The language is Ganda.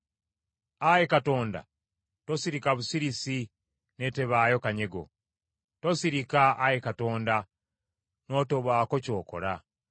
Ayi Katonda, tosirika busirisi n’etebaayo kanyego. Tosirika, Ayi Katonda, n’otobaako ky’okola.